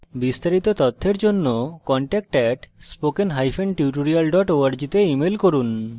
বিস্তারিত তথ্যের জন্য contact @spokentutorial org তে ইমেল করুন